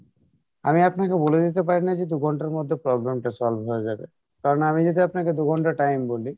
আমি আপনাকে বলে দিতে পারি না যে দু ঘন্টার মধ্যে problem টা solve হয়ে যাবে কারণ আমি যদি আপনাকে দু ঘণ্টা time বলি